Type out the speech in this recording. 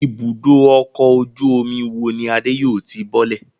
Ibùdó-ọkọ̀ ojú-omi wo ni Adé yóò ti bọ́lẹ̀?